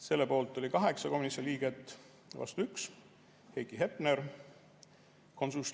Selle poolt oli 8 komisjoni liiget, vastu 1 – Heiki Hepner.